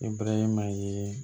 Ibrahima ye